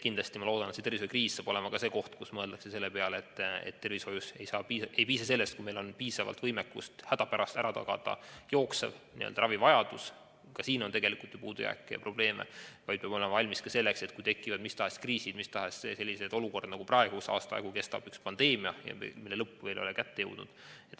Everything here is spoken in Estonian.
Ma loodan, et see tervishoiukriis paneb mõtlema selle peale, et tervishoius ei piisa sellest, kui meil on võimekus hädapärast tagada üksnes jooksev ravivajadus – ka siin on ju tegelikult puudujääke ja probleeme –, vaid peab olema valmis ka selleks, et tekivad mis tahes kriisid, mis tahes olukorrad, nagu praegu, kus pandeemia kestab terve aasta ja lõpp ei ole veel kätte jõudnud.